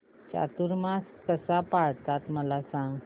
चातुर्मास कसा पाळतात मला सांग